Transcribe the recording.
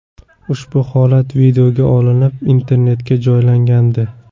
Ushbu holat videoga olinib, internetga joylangandi .